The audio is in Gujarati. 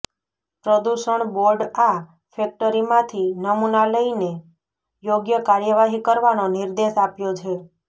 પ્રદુષણ બોર્ડ આ ફેક્ટરીમાંથી નમૂના લઈને યોગ્ય કાર્યવાહી કરવાનો નિર્દેશ આપ્યો છે